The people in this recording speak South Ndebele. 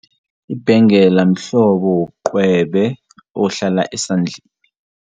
Ibhengela mhlobo wobucwebe ohlala esandleni.